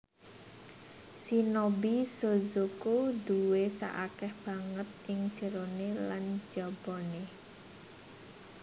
Shinobi shozoko duwé sak akèh banget ing jeroné lan jabané